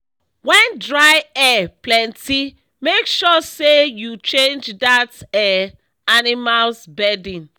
wen dry air plenty make sure say u change that um animals bedding